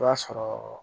I b'a sɔrɔ